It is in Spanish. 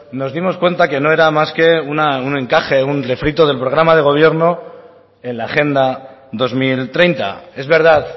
nos dimos cuenta que no era más que un encaje un refrito del programa de gobierno en la agenda dos mil treinta es verdad